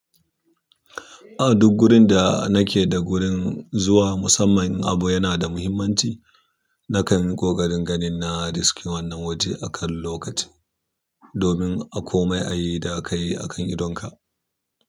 A duk gurin da nake da gurin zuwa, musamman in abu yana da muhimmanci. Nakan yi ƙoƙarin ganin na riske wannan waje akan lokaci, domin a komai ayi da kai akan idonka.